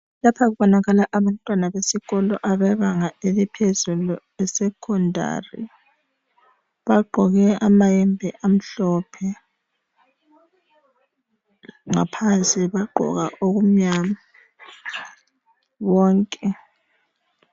Lapha kubonakala abantwana besikolo bebanga eliphezulu esecondary bagqoke amayembe amhlophe ngaphansi bagqoka okumnyama bonke.